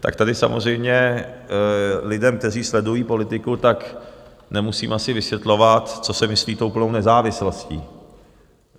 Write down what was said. Tak tady samozřejmě lidem, kteří sledují politiku, tak nemusím asi vysvětlovat, co se myslí tou plnou nezávislostí.